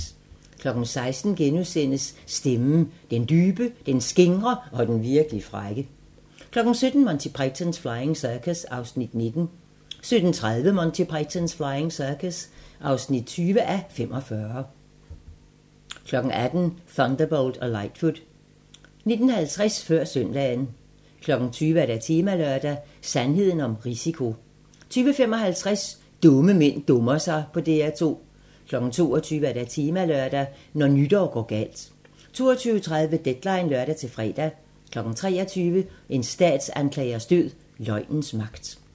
16:00: Stemmen - den dybe, den skingre og den virkelig frække * 17:00: Monty Python's Flying Circus (19:45) 17:30: Monty Python's Flying Circus (20:45) 18:00: Thunderbolt og Lightfoot 19:50: Før søndagen 20:00: Temalørdag: Sandheden om risiko 20:55: Dumme mænd dummer sig på DR2 22:00: Temalørdag: Når nytår går galt 22:30: Deadline (lør-fre) 23:00: En statsanklagers død: Løgnens magt